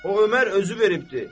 O Ömər özü veribdir.